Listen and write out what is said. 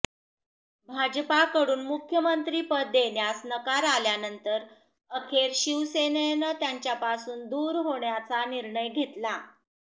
भाजपकडून मुख्यमंत्रिपद देण्यास नकार आल्यानंतर अखेर शिवसेनेनं त्यांच्यापासून दूर होण्याचा निर्णय घेतला